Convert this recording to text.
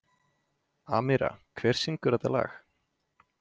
Amíra, hver syngur þetta lag?